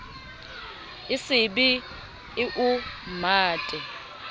e se be eo mmate